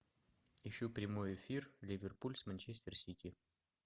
ищу прямой эфир ливерпуль с манчестер сити